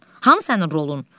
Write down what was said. Hanı sənin rolun?